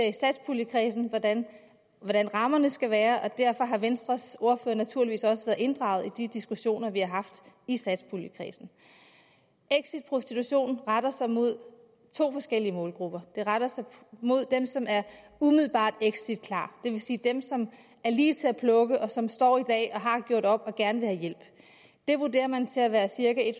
i satspuljekredsen hvordan rammerne skal være og derfor har venstres ordfører naturligvis også været inddraget i de diskussioner vi har haft i satspuljekredsen exit prostitution retter sig mod to forskellige målgrupper det retter sig mod dem som er umiddelbart exitklar det vil sige dem som er lige til at plukke og som står i dag og har gjort op og gerne vil have hjælp det vurderer man til at være cirka